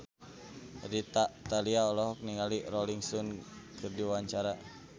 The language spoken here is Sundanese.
Rita Tila olohok ningali Rolling Stone keur diwawancara